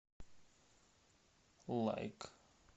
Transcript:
лайк